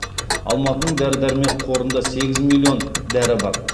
алматының дәрі дәрмек қорында сегіз миллион дәрі бар